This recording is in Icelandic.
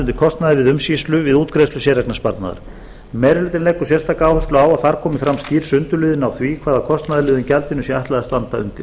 undir kostnaði vegna umsýslu við útgreiðslu séreignarsparnaðar meiri hlutinn leggur sérstaka áherslu á að þar komi fram skýr sundurliðun á því hvaða kostnaðarliðum gjaldinu sé ætlað að standa undir